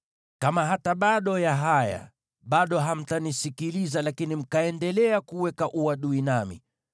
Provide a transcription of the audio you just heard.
“ ‘Kama hata baada ya haya bado hamtanisikiliza lakini mkaendelea kuweka uadui nami,